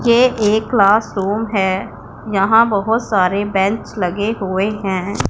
ये एक क्लासरूम है यहां बहोत सारे बेंच लगे हुए हैं।